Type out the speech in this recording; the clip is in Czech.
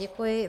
Děkuji.